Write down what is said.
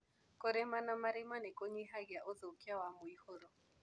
Kũrima na marima nĩkũnyihagia ũthũkia wa mwihũro.